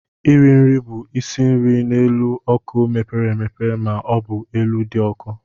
Iri nri bụ isi nri n'elu ọkụ mepere emepe ma ọ bụ elu dị ọkụ.